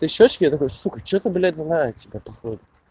ты щёчки я такой сука что-то блядь знает походу